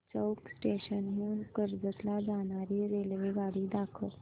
चौक station हून कर्जत ला जाणारी रेल्वेगाडी दाखव